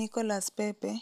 Nicolas Pepe,